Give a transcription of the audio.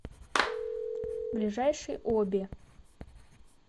ближайший оби